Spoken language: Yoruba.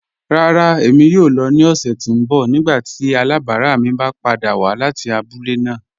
Rárá, ẹ̀mi yóò lọ̀ ni ọ̀ṣẹ̀ tí n bọ̀ nígbàtí alábarà mi bá pàdà wà láti àbúlẹ̀ náà.